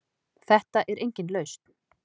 Þetta er engin lausn.